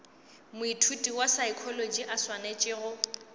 moithuti wa saekholotši a swanetšego